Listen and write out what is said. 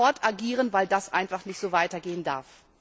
Wir müssen sofort agieren, weil das einfach nicht so weitergehen darf.